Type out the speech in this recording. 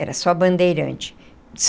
Era só bandeirante.